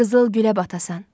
Qızıl gülə batasan.